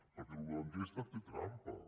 perquè això de l’enquesta té trampa